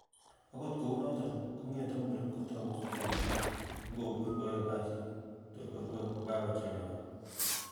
Ogot kounoton, kong'ete muren kotako subui missing ak kobur koyoe kasit tor korue ko kokakochelewan.